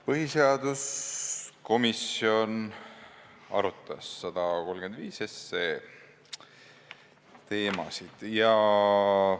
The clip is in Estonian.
Põhiseaduskomisjon arutas 135 SE teemasid.